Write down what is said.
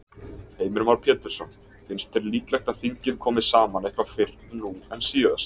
Heimir Már Pétursson: Finnst þér líklegt að þingið komi saman eitthvað fyrr nú en síðast?